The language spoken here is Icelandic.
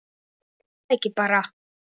Jú, er það ekki bara?